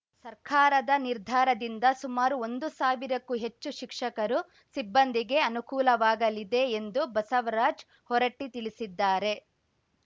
ಸರ್ಕಾರದ ನಿರ್ಧಾರದಿಂದ ಸುಮಾರು ಒಂದು ಸಾವಿರಕ್ಕೂ ಹೆಚ್ಚು ಶಿಕ್ಷಕರು ಸಿಬ್ಬಂದಿಗೆ ಅನುಕೂಲವಾಗಲಿದೆ ಎಂದು ಬಸವರಾಜ್‌ ಹೊರಟ್ಟಿತಿಳಿಸಿದ್ದಾರೆ